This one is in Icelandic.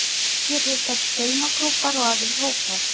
Hér hittast saumaklúbbar og aðrir hópar